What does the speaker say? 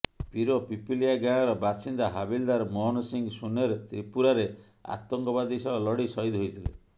ପୀର ପିପଲିଆ ଗାଁର ବାସିନ୍ଦା ହାବିଲଦାର ମୋହନ ସିଂ ସୁନେର ତ୍ରିପୁରାରେ ଆତଙ୍କବାଦୀ ସହ ଲଢ଼ି ସହିଦ ହୋଇଥିଲେ